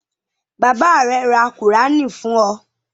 Bàbá rẹ ra Kùránì fún ọ?